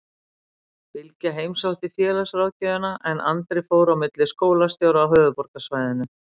Bylgja heimsótti félagsráðgjöfina en Andri fór á milli skólastjóra á höfuðborgarsvæðinu.